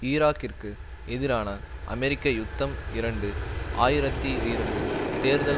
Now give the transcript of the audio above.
ஈராக்கிற்கு எதிரான அமெரிக்க யுத்தம் இரண்டு ஆயிரத்தி இரண்டு தேர்தல்